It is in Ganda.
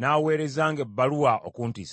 n’aweerezanga ebbaluwa okuntiisatiisa.